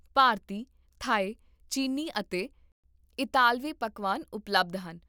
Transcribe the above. ਭਾਰਤੀ, Thai, ਚੀਨੀ ਅਤੇ ਇਤਾਲਵੀ ਪਕਵਾਨ ਉਪਲਬਧ ਹਨ